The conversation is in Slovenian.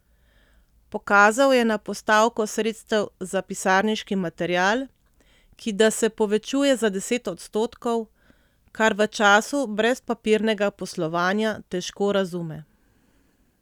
Pokazal je na postavko sredstev za pisarniški material, ki da se povečuje za deset odstotkov, kar v času brezpapirnega poslovanja težko razume.